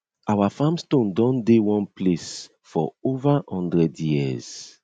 our farm stone don dey one place for over hundred years